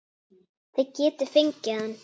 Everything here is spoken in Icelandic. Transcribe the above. Þið getið fengið hann